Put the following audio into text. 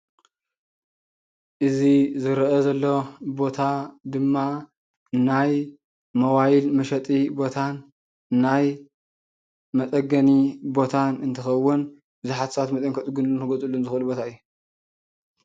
እዚ ዝረኣ ዘሎ ቦታ ድማ ናይ ሞባይል መሸጢ ቦታን ናይ መፀገኒ ቦታን እንትኸውን ብዙሓት ሰባት መፂኦም ከፀግንሉን ክዕድግሉን ዝኽእሉ ቦታ እዩ።